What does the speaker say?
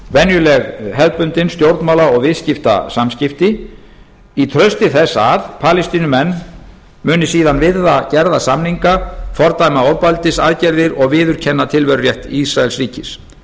venjuleg hefðbundin stjórnmála og viðskiptasamskipti í trausti þess að palestínumenn muni síðan virða gerða samninga fordæma ofbeldisaðgerðir og viðurkenna tilverurétt ísraelsríkis